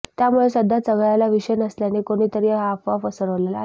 त्यामुळे सध्या चघळायला विषय नसल्याने कोणीतरी या अफवा पसरवल्या आहेत